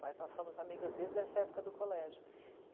Mas nós somos amigas desde essa época do colégio.